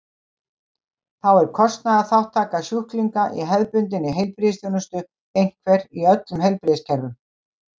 þá er kostnaðarþátttaka sjúklinga í hefðbundinni heilbrigðisþjónustu einhver í öllum heilbrigðiskerfum